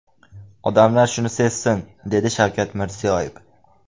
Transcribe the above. Odamlar shuni sezsin”, dedi Shavkat Mirziyoyev.